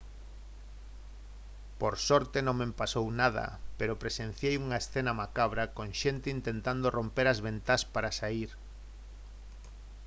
«por sorte non me pasou nada pero presenciei unha escena macabra con xente intentando romper as ventás para saír